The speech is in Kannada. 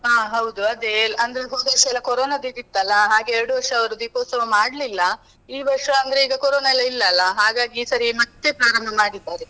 ಆ ಹೌದು ಅದೇ, ಅಂದ್ರೆ ಹೋದ್ ವರ್ಷ ಎಲ್ಲ ಕೊರೊನದಿದಿತ್ತು ಅಲಾ ಹಾಗೆ ಎರಡ್ ವರ್ಷ ಅವ್ರು ದೀಪೋತ್ಸವ ಮಾಡ್ಲಿಲ್ಲ, ಈ ವರ್ಷ ಅಂದ್ರೆ ಈಗ ಕೊರೊನ ಎಲ್ಲಾ ಇಲ್ಲ ಅಲಾ ಹಾಗಾಗಿ ಈ ಸರಿ ಮತ್ತೆ ಪ್ರಾರಂಭ ಮಾಡಿದ್ದಾರೆ.